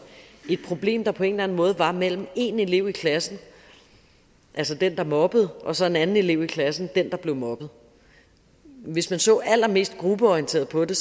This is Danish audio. et problem der på en eller anden måde var mellem én elev i klassen altså den der mobbede og så en anden elev i klassen altså den der blev mobbet hvis man så allermest gruppeorienteret på det